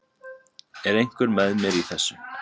Er einhver með mér í þessu?